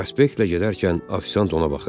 Prospektlə gedərkən ofisiant ona baxırdı.